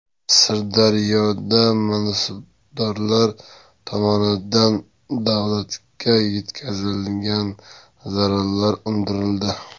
Sirdaryoda mansabdorlar tomonidan davlatga yetkazilgan zararlar undirildi.